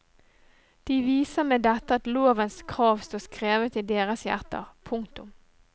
De viser med dette at lovens krav står skrevet i deres hjerter. punktum